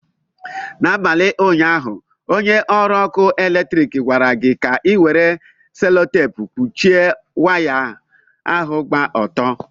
N'abalị ụnyaahụ, onye ọrụ ọkụ eletrik gwara gị ka ị were selutepu kpuchie waya ahụ gba ọtọ.